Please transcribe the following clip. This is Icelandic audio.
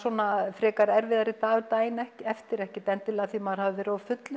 frekar erfiðari daginn eftir ekkert endilega því maður hafi verið of fullur